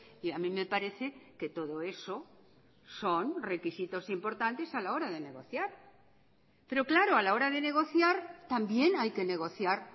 y a mí me parece que todo eso son requisitos importantes a la hora de negociar pero claro a la hora de negociar también hay que negociar